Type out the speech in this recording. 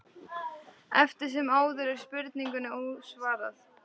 Eftir sem áður er spurningunni ósvarað.